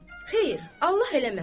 Xeyr, Allah eləməsin.